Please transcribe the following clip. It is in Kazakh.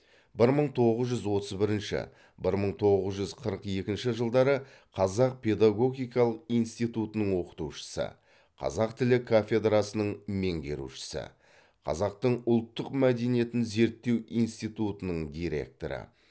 бір мың тоғыз жүз отыз бірінші бір мың тоғыз жүз қырық екінші жылдары қазақ педагогикалық институтының оқытушысы қазақ тілі кафедрасының меңгерушісі қазақтың ұлттық мәдениетін зерттеу институтының директоры